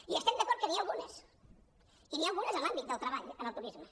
i estem d’acord que n’hi ha algunes i n’hi ha algunes en l’àmbit del treball en el turisme